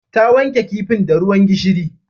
Ta wanke kifin da ruwan gishiri